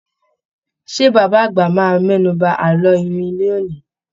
Ṣé bàbá àgbà máa mẹ́nu ba àlọ́ iwin ní òní?